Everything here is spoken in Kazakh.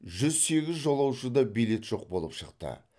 жүз сегіз жолаушыда билет жоқ болып шықты